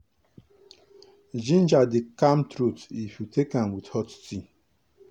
ginger dey calm throat if you take am with hot tea.